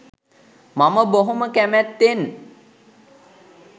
මම බොහොම කැමැත්තෙන්